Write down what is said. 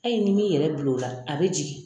A ye ni m'i yɛrɛ bilola a bi jigin